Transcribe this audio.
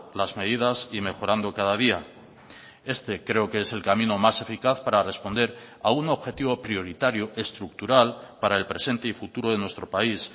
las medidas y mejorando cada día este creo que es el camino más eficaz para responder a un objetivo prioritario estructural para el presente y futuro de nuestro país